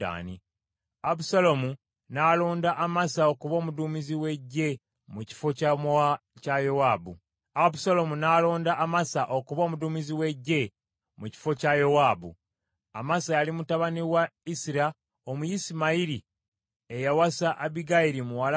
Abusaalomu n’alonda Amasa okuba omuduumizi w’eggye mu kifo kya Yowaabu. Amasa yali mutabani wa Isira Omuyisimayiri eyawasa Abbigayiri muwala wa Nakasi muganda wa Zeruyiya nnyina Yowaabu.